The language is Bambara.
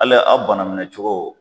hali a bana minɛcogo.